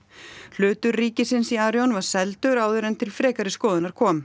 hlutur ríkisins í Arion var seldur áður en til frekari skoðunar kom